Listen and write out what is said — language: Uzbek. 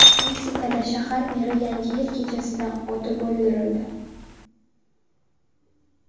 Meksikada shahar meri Yangi yil kechasida otib o‘ldirildi.